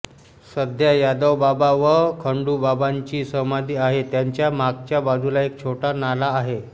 सध्या यादवबाबा व खंडुबाबांची समाधी आहे त्याच्या मागच्या बाजूला एक छोटा नाला आहे